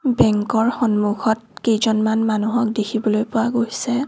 Bank ৰ সন্মুখত কেইজনমান মানুহক দেখিবলৈ পোৱা গৈছে।